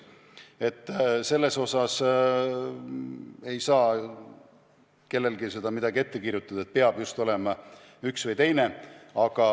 Selles osas ei saa kellelgi midagi ette kirjutada, et peab just olema üks või teine.